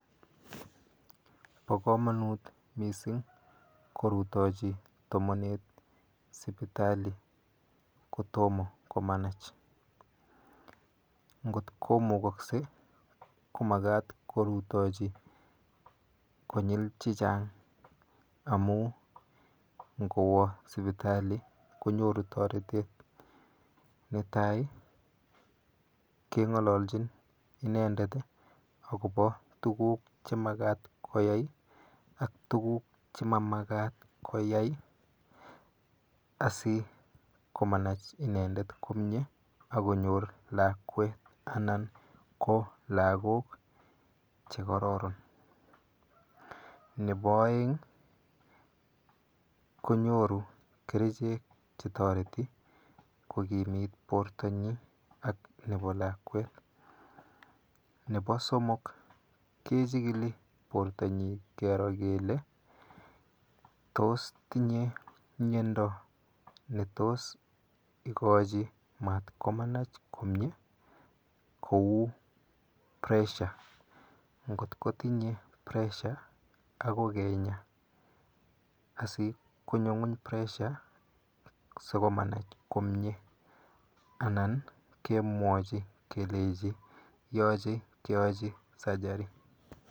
Po komonut mising korutochi tomonet sipitali kotomo komanach. Nkot komukokse komakat korutochi konyil chichang amu ngowo sipitali konyoru toretet, netai, keng'ololchin inendet akopo tuguk chemakat koyai ak tuguk chemamakat koyai asikomanach inendet komie akonyor lakwet anan ko lagok chekororon. Nepo oeng konyoru kerichek chetoreti kokimit portonyi ak nepo lakwet. Nepo somok kechikili portonyi kero kele tos tinye miendo netos ikochi mat komanach komie? Kou pressure. Nkot kotinye pressure[c] akoi kenya asikonyo ng'uny pressure sikomanach komie anan kemwochi kelechi yoche keochi surgery.